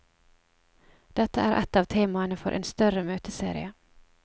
Dette er et av temaene for en større møteserie.